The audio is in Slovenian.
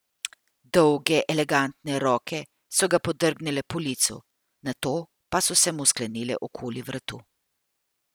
Dolge, elegantne roke so ga podrgnile po licu, nato pa so se mu sklenile okoli vratu.